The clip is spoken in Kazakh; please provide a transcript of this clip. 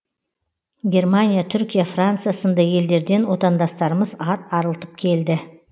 германия түркия франция сынды елдерден отандастарымыз ат арылтып келді